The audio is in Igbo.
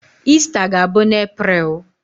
Ista ga-abụ n'April.